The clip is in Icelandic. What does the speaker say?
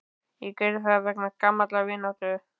Ég gerði það vegna gamallar vináttu.